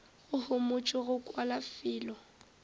go homotšwe go kwala fela